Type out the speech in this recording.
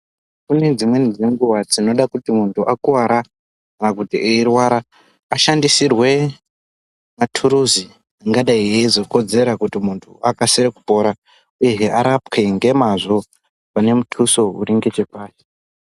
Kune dzimweni dzenguwa dzinoda kuti muntu Akuwara kana kuti eirwara asahndisirwe maturuzi angadai eizokodzerwa kuti Akasire kupora uyehs arapwe nemazvo kune mutuso wechepashi.